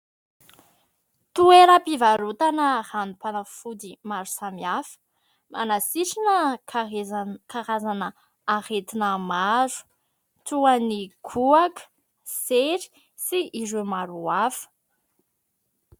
Toeram-pivarotana ranom-panafody maro samihafa : manasitrana karazana aretina maro toa ny kohaka, sery sy ireo maro hafa.